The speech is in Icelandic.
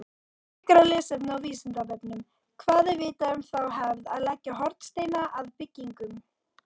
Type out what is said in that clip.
Frekara lesefni á Vísindavefnum: Hvað er vitað um þá hefð að leggja hornsteina að byggingum?